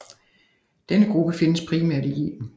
Denne gruppe findes primært i Yemen